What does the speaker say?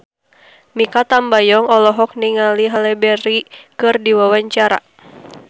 Mikha Tambayong olohok ningali Halle Berry keur diwawancara